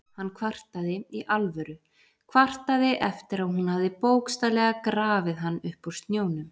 Hann kvartaði- í alvöru, kvartaði eftir að hún hafði bókstaflega grafið hann upp úr snjónum!